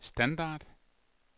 standard